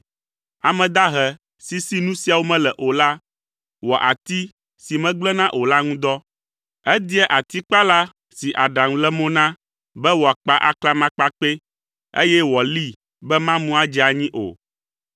Ame dahe si, si nu siawo mele o la wɔa ati si megblẽna o la ŋu dɔ. Edia atikpala si aɖaŋu le mo na be wòakpa aklamakpakpɛ, eye wòalii be mamu adze anyi o.